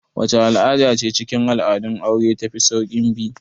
Wacce al'ada ce cikin al'adun aure ta fi saukin bi?